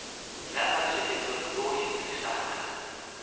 nga na nseketelo lowu enerisaka